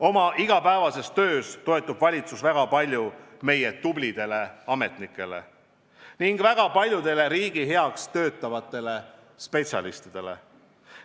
Oma igapäevases töös toetub valitsus väga palju meie tublidele ametnikele ning väga paljudele teistele riigi heaks töötavatele spetsialistidele.